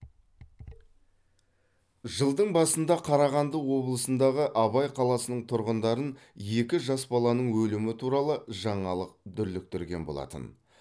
жылдың басында қарағанды облысындағы абай қаласының тұрғындарын екі жас баланың өлімі туралы жаңалық дүрліктірген болатын